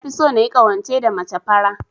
Nafi so nayi ƙawance da mace fara.